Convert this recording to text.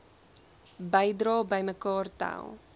bedrae bymekaar tel